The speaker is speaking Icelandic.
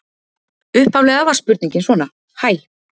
Upphaflega var spurningin svona: Hæ.